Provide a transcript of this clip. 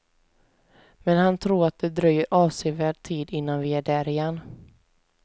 Men han tror att det dröjer avsevärd tid innan vi är där igen.